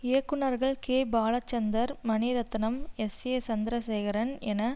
இயக்குனர்கள் K Balachander Mani Ratnam S A Chandrasekaran என